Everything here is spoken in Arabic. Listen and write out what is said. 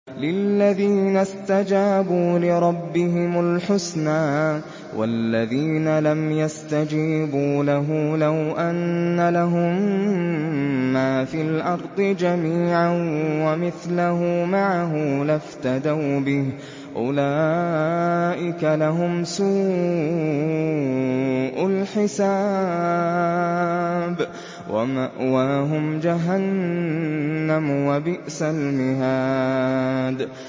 لِلَّذِينَ اسْتَجَابُوا لِرَبِّهِمُ الْحُسْنَىٰ ۚ وَالَّذِينَ لَمْ يَسْتَجِيبُوا لَهُ لَوْ أَنَّ لَهُم مَّا فِي الْأَرْضِ جَمِيعًا وَمِثْلَهُ مَعَهُ لَافْتَدَوْا بِهِ ۚ أُولَٰئِكَ لَهُمْ سُوءُ الْحِسَابِ وَمَأْوَاهُمْ جَهَنَّمُ ۖ وَبِئْسَ الْمِهَادُ